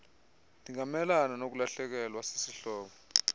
ndingamelana nokulahlekelwa sisihlobo